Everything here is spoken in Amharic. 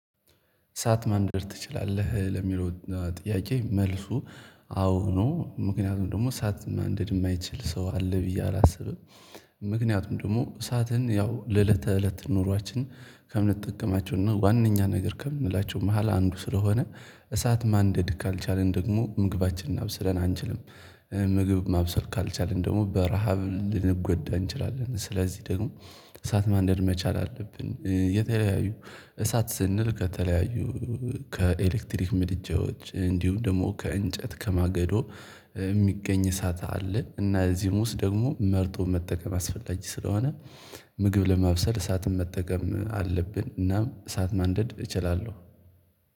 እሳት ማንደድ ትችላለህ? ለሚለው ጥያቄ መልሱ አዎ ነው ምክንያቱም ደግሞ እሳት ማንደድ የማይችል ሰው አለ ብዬ አላስብም። ምክንያቱም ደግሞ እሳትን ያው ለእለተ እለት ኑሯችን ከምንጠቀማቸውና ዋነኛ ነገር ከምንላቸው መሃል አንዱ ስለሆነ እሳት ማንደድ ካልቻልን ደግሞ ምግባችንን አብስለን አንችልም። ምግብ ማብሰል ካልቻልን ደግሞ በረሃብ ልንጎዳ እንችላለን ስለዚህ ደግሞ እሳት ማንደድ መቻል አለብን። የተለያዩ እሳት ስንል ከተለያዩ ከኤሌክትሪክ ምድጃዎች እንዲሁ ደግሞ ከእንጨት ከማገዶ የሚገኝ እሳት አለ እና እዚህም ውስጥ ደግሞ መርጦ መጠቀም አስፈላጊ ስለሆነ። ምግብ ለማብሰል እሳትን መጠቀም አለብን እናም እሳት ማንደድ እችላለሁ።